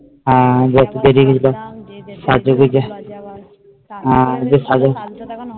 হ্যাঁ বেরিয়ে গিয়েছিলাম সাজ হ্যাঁ সাজো